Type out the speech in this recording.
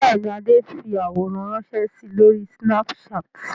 Bẹ́ẹ̀ ni, Adé fi àwòrán ránṣẹ́ si lórí Snapchat.